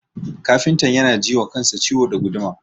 Kafintan yana ji wa kansa ciwo da guduma.